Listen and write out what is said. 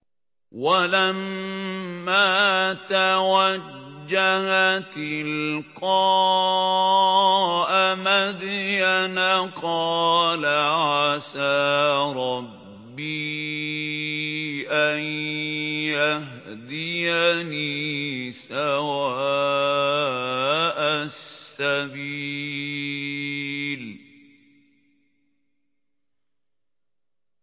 وَلَمَّا تَوَجَّهَ تِلْقَاءَ مَدْيَنَ قَالَ عَسَىٰ رَبِّي أَن يَهْدِيَنِي سَوَاءَ السَّبِيلِ